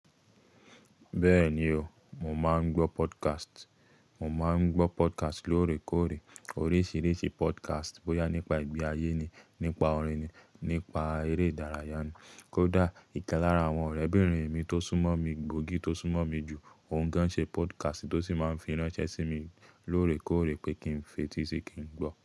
Bẹ́ẹ̀ni o, mo máa ń gbọ́ podcast. Mo máa ń gbọ́ podcast lóòrèkóòrè, oríṣiríṣi podcast, bóyá nípa ìgbé ayé ni, nípa orin ni, nípa eré ìdárayá ni. Kódà ìkẹ́ lára àwọn ọ̀rẹ́bìnrin mi tó súnmọ́ mi gbòógì tó súnmọ́ mi jù, òun gan ṣe podcast tó sì máa fi ránṣẹ́ sí mi lóòrèkóòrè pé kí n fetí sí kí n gbọ́.